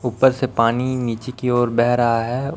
ऊपर से पानी नीचे की ओर बह रहा है।